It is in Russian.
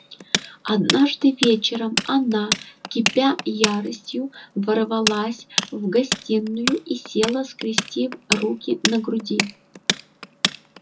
однажды вечером она кипя яростью ворвалась в гостиную и села скрестив руки на груди